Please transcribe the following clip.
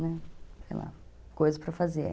Sei lá, coisa para fazer.